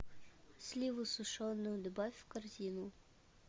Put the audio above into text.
сливу сушеную добавь в корзину